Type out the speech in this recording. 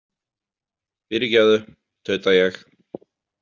Fyrirgefðu, tauta ég.